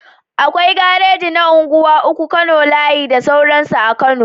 Akwai gareji na unguwa uku, kano layi da sauransu a kano